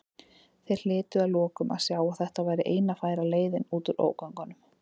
Þeir hlytu að lokum að sjá að þetta væri eina færa leiðin út úr ógöngunum.